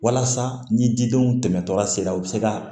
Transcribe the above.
Walasa ni didenw tɛmɛtɔla sera u be se ka